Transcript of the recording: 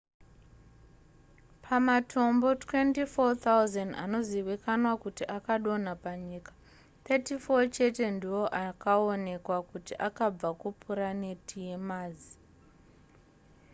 pamatombo 24,000 anozivikanwa kuti akadonha panyika 34 chete ndiwo akaonekwa kuti akabva kupuraneti yemazi